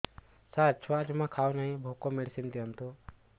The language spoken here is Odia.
ସାର ଛୁଆ ଜମା ଖାଉନି ଭୋକ ମେଡିସିନ ଦିଅନ୍ତୁ